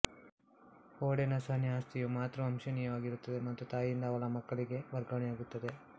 Haudenosaunee ಆಸ್ತಿಯು ಮಾತೃವಂಶೀಯವಾಗಿರುತ್ತದೆ ಮತ್ತು ತಾಯಿಯಿಂದ ಅವಳ ಮಕ್ಕಳಿಗೆ ವರ್ಗಾವಣೆಯಾಗುತ್ತದೆ